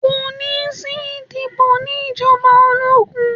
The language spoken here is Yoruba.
Kò ní sí ìdìbò ní ìjọba ológun.